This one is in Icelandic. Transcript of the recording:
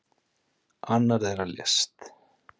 Annar þeirra lést.